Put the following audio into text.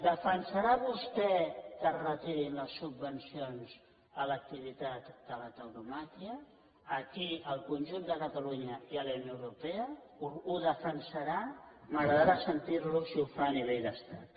defensarà vostè que es retirin les subvencions a l’activitat de la tauromàquia aquí al conjunt de catalunya i a la unió europea ho defensarà m’agradarà sentir lo si ho fa a nivell d’estat